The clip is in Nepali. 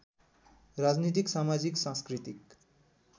राजनीतिक समाजिक सांस्कृतिक